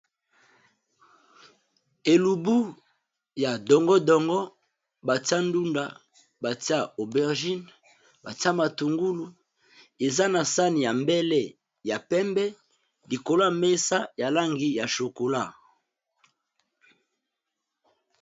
Elubu ya dongo dongo batiya ndunda, matungulu , obergine eza sahani ya mbele ya pembe likolo ya mesa ya langi ya chocolat.